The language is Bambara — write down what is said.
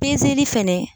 fɛnɛ